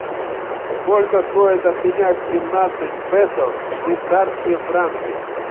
сколько стоит обменять семнадцать песо в швейцарские франки